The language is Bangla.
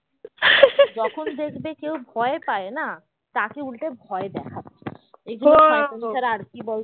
যখন দেখবে কেউ ভয় পায় না তাকে উল্টে ভয় দেখাবে এগুলো শয়তানি ছাড়া আর কি